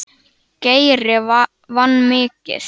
Geiri vann mikið.